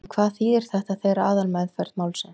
En hvað þýðir þetta fyrir aðalmeðferð málsins?